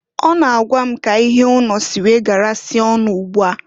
Ọ na-agwa k'ihe ụnọ si wee garasịa ọnụ ụgbụ a.